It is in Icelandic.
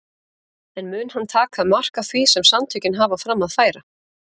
En mun hann taka mark á því sem samtökin hafa fram að færa?